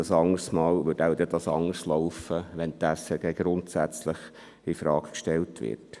Ein andermal würde es wohl anders herauskommen, wenn die SRG grundsätzlich infrage gestellt wird.